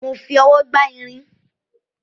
Mo fi ọwọ́ gbá irin